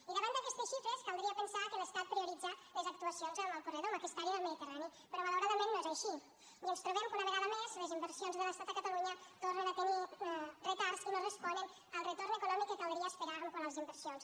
i davant d’aquestes xifres caldria pensar que l’estat prioritza les actuacions en el corredor en aquesta àrea del mediterrani però malauradament no és així i ens trobem que una vegada més les inversions de l’estat a catalunya tornen a tenir retards i no responen al retorn econòmic que caldria esperar quant a les inversions